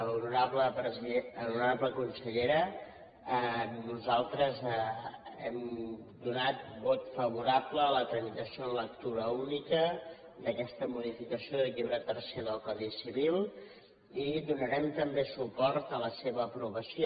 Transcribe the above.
honorable consellera nosaltres hem donat vot favorable a la tramitació en lectura única d’aquesta modificació del llibre tercer del codi civil i donarem també suport a la seva aprovació